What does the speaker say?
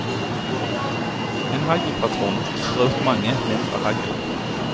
En haglpatron sprer ut mange, mindre hagl.